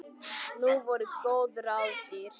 Nú voru góð ráð dýr!